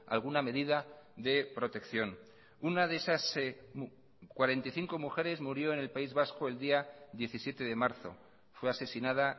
alguna medida de protección una de esas cuarenta y cinco mujeres murió en el país vasco el día diecisiete de marzo fue asesinada